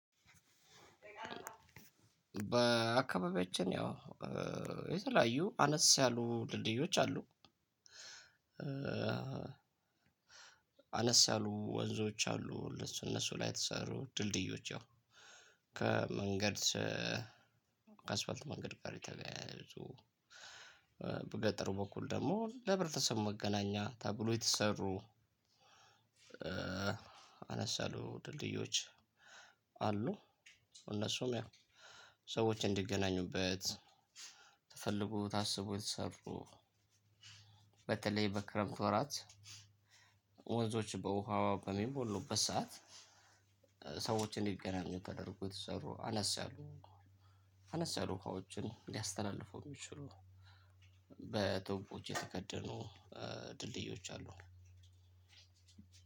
በአካባቢያችን ያው የተለያዩ አነስ ያሉ ድልድዮች አሉ። አነስ ያሉ ወንዞች አሉ እነሱ ላይ የተሰሩ ድልድዮች ያው ከመንገድ ከአስፋልት መንገድ ጋር የተገናኘው በገጠሩ በኩል ደግሞ ለህብረተሰቡ መገናኛ ተብሎ የተሰሩ። አነስያሉ ድልድዮች አሉ እነሱም ያው ሰዎች እንዲገናኙበት ተፈልጉ ታስቡ የተሰሩ። በተለይ በክረምት ወራት ወንዞች በውሃዋ በሚሞሉበት ሰዓት ሰዎችን እንዲገናኙ ተደርጎ የተሰሩ አነስ ያሉ አነስ ያሉ ውሃዎችን ሊያስተላልፈው ሚችሉ በትውፎች የተከደኑ ድልድዮች አሉ።